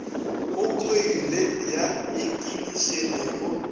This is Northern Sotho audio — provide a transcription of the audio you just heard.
go khoile ya ikinišene go